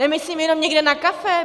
Nemyslím jenom někde na kafe.